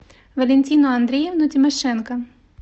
валентину андреевну тимошенко